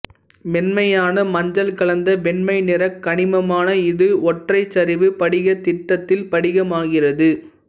மென்மையான மஞ்சள் கலந்த வெண்மை நிற கனிமமான இது ஒற்றைச் சரிவு படிகத்திட்டத்தில் படிகமாகிறது